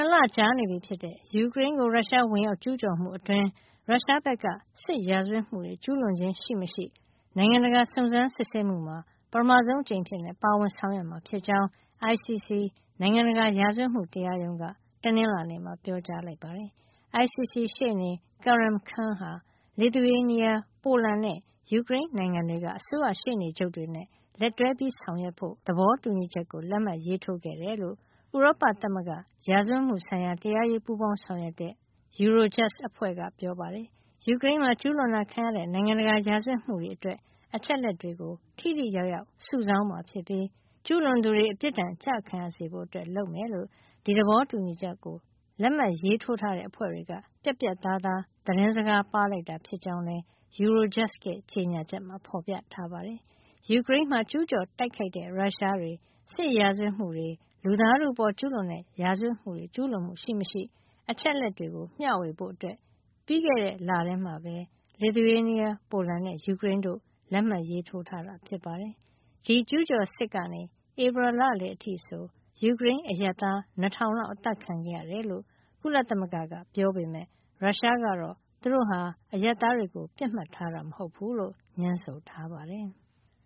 ည် ၂ လကြာနေပြီဖြစ်တဲ့ ယူကရိန်းကို ရုရှား ဝင်ရောက်ကျူးကျော်မှု အတွင်း ရုရှားဘက်က စစ်ရာဇဝတ်မှုတွေ ကျူးလွန်ခြင်းရှိမရှိ နိုင်ငံတကာစုံစမ်းစစ်ဆေးမှုမှာ ပထမဆုံးအကြိမ်အဖြစ် ပါဝင်ဆောင်ရွက်မှာ ဖြစ်ကြောင်း ICC နိုင်ငံတကာ ရာဇဝတ်မှု တရားရုံးက တနင်္လာနေ့မှာ ပြောကြားလိုက်ပါတယ်။ ICC ရှေ့နေ Karim Khan ဟာ Lithuania ၊ ပိုလန်နဲ့ ယူကရိန်းနိုင်ငံတွေက အစိုးရရှေ့နေချုပ်တွေနဲ့ လက်တွဲဆောင်ရွက်ဖို့ သဘောတူညီချက်ကို လက်မှတ်ရေးထိုး ခဲ့တယ်လို့ ဥရောပသမဂ္ဂ ရာဇဝတ်မှုဆိုင်ရာ တရားရေးပူးပေါင်းဆောင်ရွက်တဲ့ (Eurojust) အဖွဲ့က ပြောပါတယ်။ ယူကရိန်းမှာ ကျူးလွန်တာခံရတဲ့ နိုင်ငံတကာ ရာဇဝတ်မှုတွေ အတွက် အချက်အလက်တွေကို ထိထိရောက်ရောက် စုဆောင်းမှာ ဖြစ်ပြီး ကျူးလွန်သူတွေ အပစ်ဒဏ်ကျခံရစေဖို့ လုပ်မှာ ဖြစ်ကြောင်း ဒီသဘောတူညီချက်ကို လက်မှတ်ရေးထိုးထားတဲ့ အဖွဲ့တွေက ပြတ်ပြတ်သားသား သတင်းစကား ပါးလိုက်တာ ဖြစ်ကြောင်းလည်း Eurojust ရဲ့ ကြေညာချက်မှာ ဖေါ်ပြထားပါတယ်။ ယူကရိန်းမှာ ကျူးကျော်တိုက်ခိုက်တဲ့ ရုရှားတွေ စစ်ရာဇဝတ်မှုတွေ၊ လူသားထုအပေါ် ကျူးလွန်တဲ့ ရာဇဝတ်မှုတွေ ကျူးလွန်မှု ရှိမရှိ အချက်အလက်တွေကို မျှဝေဖို့ ပြီးခဲ့တဲ့ လထဲမှာပဲ Lithuania ပိုလန်နဲ့ ယူကရိန်းတို့ လက်မှတ်ရေးထိုးထားတာ ဖြစ်ပါတယ်။ ဒီကျူးကျော်စစ်ကနေ ဧပြီလ လယ်အထိ ဆို ယူကရိန်း အရပ်သား ၂၀၀၀ လောက် အသတ်ခံခဲ့ရတယ်လို့ ကုလသမဂ္ဂက ပြောပေမယ့် ရုရှားကတော့ သူတို့ဟာ အရပ်သားတွေကို ပစ်မှတ်ထားတာ မဟုတ်ဖူးလို့ ငြင်းဆိုထားပါတယ်။